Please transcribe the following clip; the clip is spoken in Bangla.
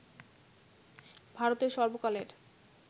ভারতের সর্বকালের